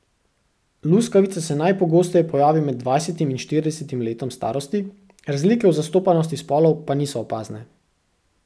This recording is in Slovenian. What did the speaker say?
Luskavica se najpogosteje pojavi med dvajsetim in štiridesetim letom starosti, razlike v zastopanosti spolov pa niso opazne.